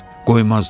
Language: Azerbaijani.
Qoymazlar.